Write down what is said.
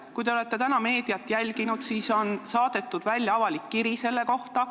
Kui te olete täna meediat jälginud, siis te teate, et on saadetud avalik kiri selle kohta.